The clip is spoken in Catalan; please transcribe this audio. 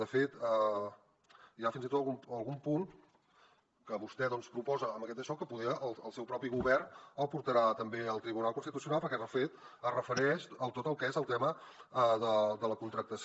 de fet hi ha fins i tot algun punt que vostè doncs proposa amb aquest daixò que poder el seu propi govern el portarà també al tribunal constitucional perquè de fet es refereix a tot el que és el tema de la contractació